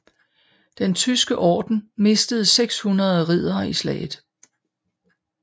Den Tyske Orden mistede 600 riddere i slaget